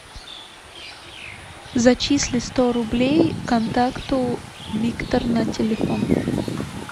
зачисли сто рублей контакту виктор на телефон